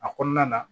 A kɔnɔna na